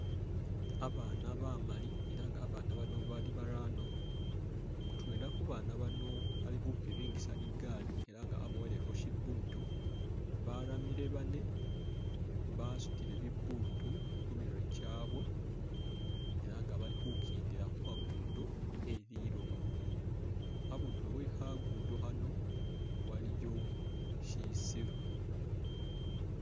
Abana bamaali elah nga babana bano bari barano mutwela khubana bano alikhupiringisa ligali elah nga aboyelekho shibuutu baramile bane basutile bibuutu khumurwe kyabwe elah nga balikhukendela khukhagudo kheliloba abundulo wekhagudo khano waliyo shisiru